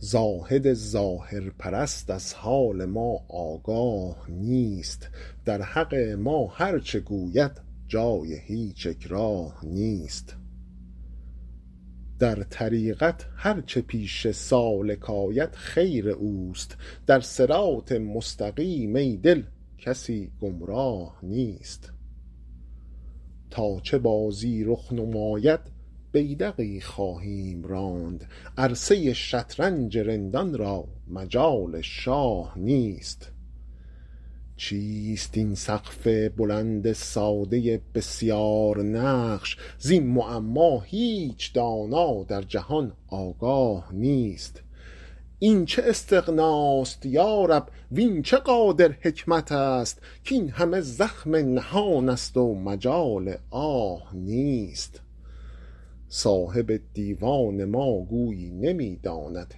زاهد ظاهرپرست از حال ما آگاه نیست در حق ما هرچه گوید جای هیچ اکراه نیست در طریقت هرچه پیش سالک آید خیر اوست در صراط مستقیم ای دل کسی گمراه نیست تا چه بازی رخ نماید بیدقی خواهیم راند عرصه ی شطرنج رندان را مجال شاه نیست چیست این سقف بلند ساده بسیارنقش زین معما هیچ دانا در جهان آگاه نیست این چه استغناست یا رب وین چه قادر حکمت است کاین همه زخم نهان است و مجال آه نیست صاحب دیوان ما گویی نمی داند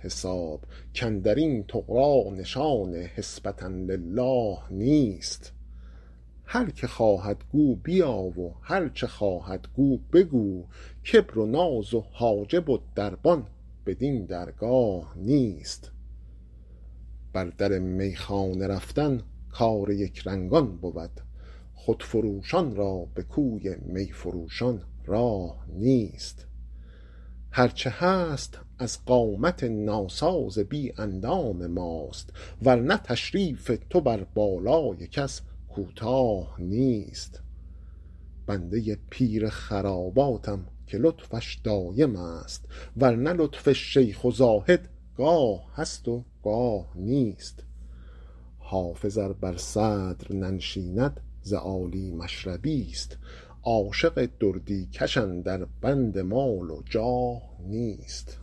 حساب کاندر این طغرا نشان حسبة للٰه نیست هر که خواهد گو بیا و هرچه خواهد گو بگو کبر و ناز و حاجب و دربان بدین درگاه نیست بر در میخانه رفتن کار یکرنگان بود خودفروشان را به کوی می فروشان راه نیست هرچه هست از قامت ناساز بی اندام ماست ور نه تشریف تو بر بالای کس کوتاه نیست بنده ی پیر خراباتم که لطفش دایم است ور نه لطف شیخ و زاهد گاه هست و گاه نیست حافظ ار بر صدر ننشیند ز عالی مشربی ست عاشق دردی کش اندر بند مال و جاه نیست